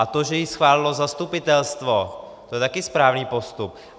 A to, že ji schválilo zastupitelstvo, to je také správný postup.